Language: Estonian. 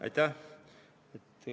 Aitäh!